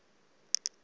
umtriniti